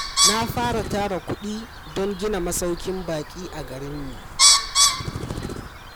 Na fara tara kuɗi don gina masaukin baƙi a garinmu.